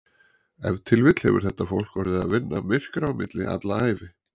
Ef til vill hefur þetta fólk orðið að vinna myrkra á milli alla ævi.